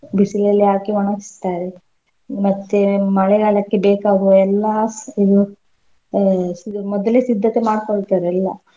ಬಿಸಿಲಲ್ಲಿ ಹಾಕಿ ಒಣಗಿಸ್ತಾರೆ ಮತ್ತೆ ಮಳೆಗಾಲಕ್ಕೆ ಬೇಕಾಗುವ ಎಲ್ಲಾ ಸ್~ ಇದು ಅಹ್ ಸ~ ಇದು ಮೊದಲೇ ಸಿದ್ದತೆ ಮಾಡ್ಕೊಳ್ತರೆಲ್ಲಾ.